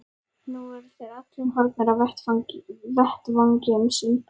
Nú voru þeir allir horfnir af vettvangi um sinn.